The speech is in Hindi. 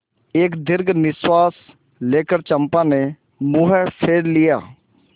एक दीर्घ निश्वास लेकर चंपा ने मुँह फेर लिया